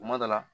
Kuma dɔ la